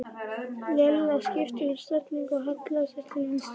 Lilla skipti um stellingu og hallaði sér til vinstri.